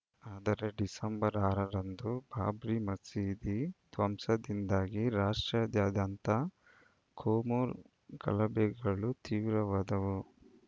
ಆದರೆ ಡಿಸೆಂಬರ್‌ ಆರು ರಂದು ಬಾಬ್ರಿ ಮಸೀದಿ ಧ್ವಂಸದಿಂದಾಗಿ ರಾಷ್ಟ್ರಾದ್ಯಂತ ಕೋಮು ಗಲಭೆಗಳು ತೀವ್ರವಾದವು